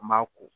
An b'a ko